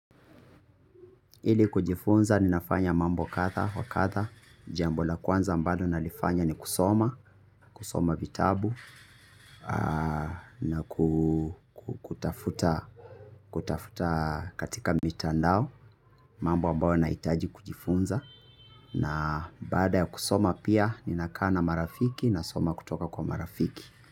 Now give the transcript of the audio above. Hili kujifunza ninafanya mambo kadha, wa kadha, jambo la kwanza amablo nalifanya ni kusoma, kusoma vitabu, na kutafuta katika mitandao, mambo amabayo nahitaji kujifunza, na baada ya kusoma pia ninakaa na marafiki nasoma kutoka kwa marafiki.